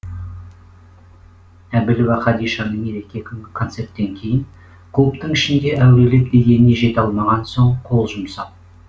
әбілова хадишаны мереке күнгі концерттен кейін клубтың ішінде әурелеп дегеніне жете алмаған соң қол жұмсап